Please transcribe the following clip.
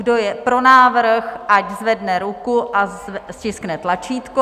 Kdo je pro návrh, ať zvedne ruku a stiskne tlačítko.